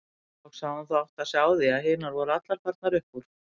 Loks hafði hún þó áttað sig á því að hinar voru allar farnar upp úr.